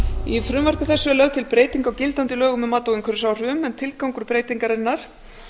í frumvarpi þessu er lögð til breyting á gildandi lögum um mat á umhverfisáhrifum en tilgangur breytingarinnar